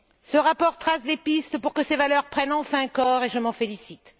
Ce rapport trace des pistes pour que ces valeurs prennent enfin corps, et je m'en félicite.